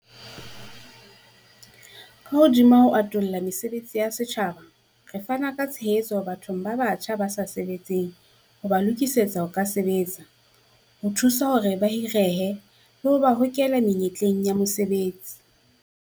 Ka hodima ho atolla mesebetsi ya setjhaba, re fana ka tshehetso bathong ba batjha ba sa sebetseng ho ba lokisetsa ho ka sebetsa, ho thusa hore ba hirehe, le ho ba hokela menyetleng ya mosebetsi.